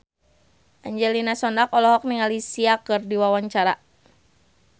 Angelina Sondakh olohok ningali Sia keur diwawancara